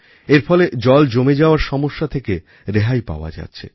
এর ফলে জল জমে যাওয়ার সমস্যা থেকে রেহাই পাওয়া যাচ্ছে